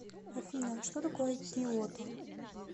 афина что такое киото